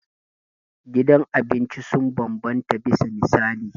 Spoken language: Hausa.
Gidan abinci sun bambanta bisa misali.